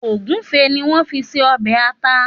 Ògúnfe ni wọ́n fi ṣe ọbẹ̀ ata.